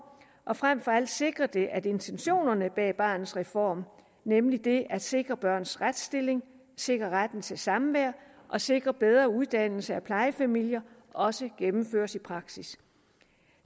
og frem for alt sikrer det at intentionerne bag barnets reform nemlig at sikre børns retsstilling sikre retten til samvær og sikre bedre uddannelse af plejefamilier også gennemføres i praksis